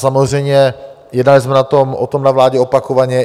Samozřejmě jednali jsme o tom na vládě opakovaně.